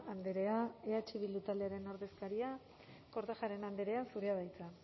andrea eh bildu taldearen ordezkaria kortajarena andrea zurea da hitza